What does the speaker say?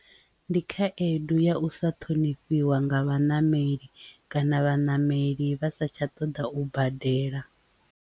Ndi khaedu ya u sa ṱhonifhiwa nga vhaṋameli kana vhaṋameli vha sa tsha ṱoḓa u badela.